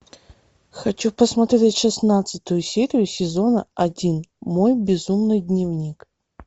хочу посмотреть шестнадцатую серию сезона один мой безумный дневник